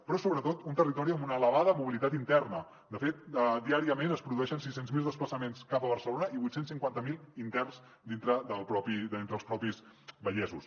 però és sobretot un territori amb una elevada mobilitat interna de fet diàriament es produeixen sis cents miler desplaçaments cap a barcelona i vuit cents i cinquanta miler d’interns entre els propis vallesos